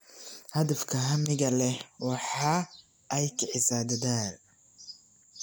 Hadafka hamiga leh waxa ay kicisaa dadaal.